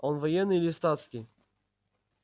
он военный или статский